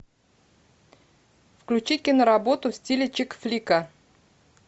включи киноработу в стиле чик флика